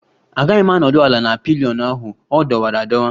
Agaghị m anọdụ ala na pillion ahụ, ọ dọwara adọwa